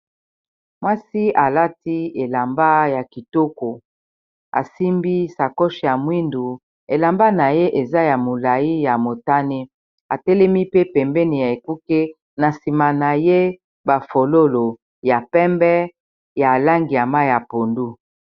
Mwasi alati elamba ya kitoko asimbi sakoch ya mwindu elamba na ye eza ya molai ya motane atelemi pe pembeni ya ekuke na nsima na ye bafololo ya pembe ya langi ya mayi ya pondu.